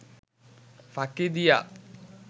ফাঁকি দিয়া